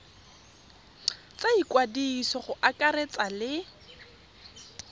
tsa ikwadiso go akaretsa le